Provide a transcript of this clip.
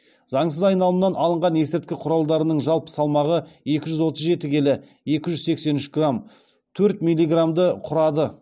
заңсыз айналымнан алынған есірткі құралдарының жалпы салмағы екі жүз отыз жеті келі екі жүз сексен үш грамм төрт милиграммды құрады